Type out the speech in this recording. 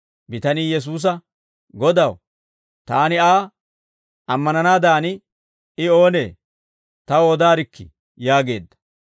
Bitanii Yesuusa, «Godaw, taani Aa ammananaadan I oonee? Taw odaarikkii!» yaageedda.